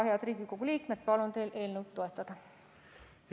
Head Riigikogu liikmed, palun teil eelnõu toetada!